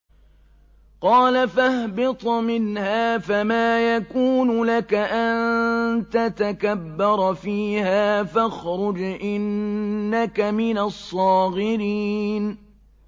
قَالَ فَاهْبِطْ مِنْهَا فَمَا يَكُونُ لَكَ أَن تَتَكَبَّرَ فِيهَا فَاخْرُجْ إِنَّكَ مِنَ الصَّاغِرِينَ